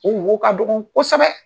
O wo ka dɔgɔn kɔsɛbɛ